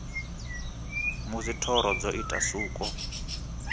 musi thoro dzo ita suko